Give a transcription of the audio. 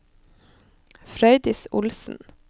Frøydis Olsen